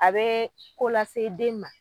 A bee ko lase den ma